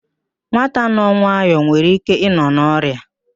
Nwata nọ nwayọ nwere ike ịnọ n'ọria